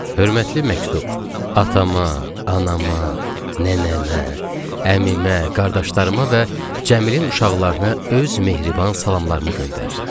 Hörmətli məktub, atama, anama, nənəmə, əmimə, qardaşlarıma və Cəmilin uşaqlarına öz mehriban salamlarımı göndərirəm.